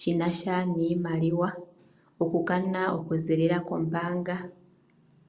shinasha niimaliwa oku kana okuzililila kombanga.